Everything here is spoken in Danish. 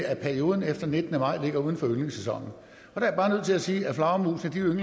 at perioden efter nittende maj ligger uden for ynglesæsonen der er jeg til at sige at flagermusene